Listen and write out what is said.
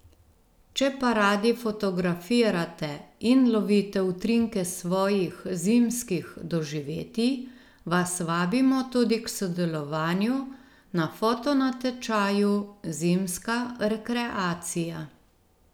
Če pa radi fotografirate in lovite utrinke svojih zimskih doživetij, vas vabimo tudi k sodelovanju na fotonatečaju Zimska rekreacija.